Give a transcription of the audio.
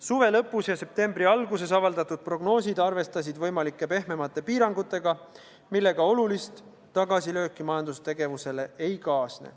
Suve lõpus ja septembri alguses avaldatud prognoosid arvestasid võimalike pehmemate piirangutega, millega olulist tagasilööki majandustegevusele ei kaasne.